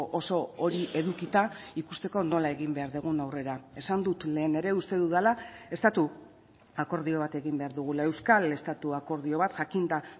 oso hori edukita ikusteko nola egin behar dugun aurrera esan dut lehen ere uste dudala estatu akordio bat egin behar dugula euskal estatu akordio bat jakinda